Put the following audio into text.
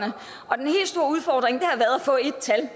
få ét tal